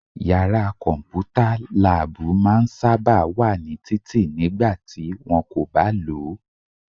Yàrá kọ̀mpútà/láàbù máa n sáábà wà ní títì nígbà tí wọ́n kò bá lòó